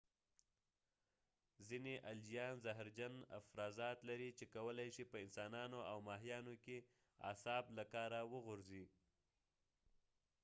ځینې الجیان زهرجن افرازات لري چې کولی شي په انسانانو او ماهیانو کې اعصاب له کاره وغورځي